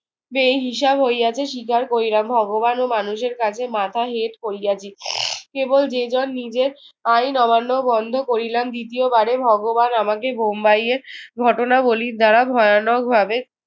বেহিসাব হইয়াছে, স্বীকার করিলাম। ভগবান ও মানুষের কাছে মাথা হেট করিয়াছি। কেবল যে যার নিজের আইন অমান্য বন্ধ করিলাম। দ্বিতীয়বারে ভগবান আমাকে বোম্বাইয়ের ঘটনাবলীর দ্বারা ভয়ানকভাবে